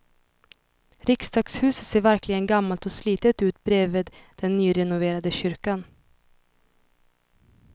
Riksdagshuset ser verkligen gammalt och slitet ut bredvid den nyrenoverade kyrkan.